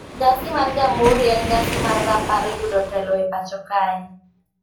Nyasi mar Jamhuri en nyasi mar rapar yudo telo e pacho kae